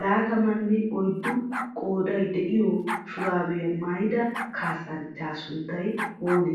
laataammanne oyddu qooday de7iyo shuurabbiya maayidaa kaassanchchaa sunttay oonee?